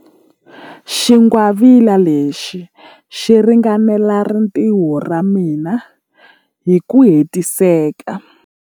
Xingwavila lexi xi ringanela rintiho ra mina hi ku hetiseka.